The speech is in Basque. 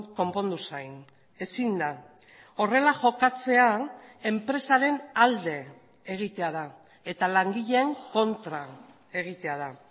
konpondu zain ezin da horrela jokatzea enpresaren alde egitea da eta langileen kontra egitea da